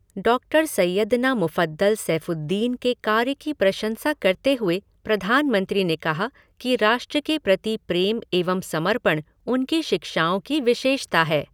Doctor Syedna Mufaddal Saifuddin के कार्य की प्रशंसा करते हुए प्रधानमंत्री ने कहा कि राष्ट्र के प्रति प्रेम एवं समर्पण उनकी शिक्षाओं की विशेषता है।